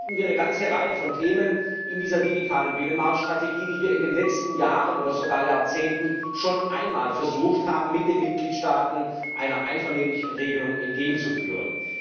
Und so finden wir eine ganze Reihe von Themen in dieser digitalen Binnenmarktstrategie, bei denen wir in den letzten Jahren oder sogar Jahrzehnten schon einmal versucht haben, sie mit den Mitgliedstaaten einer einvernehmlichen Regelung entgegenzuführen.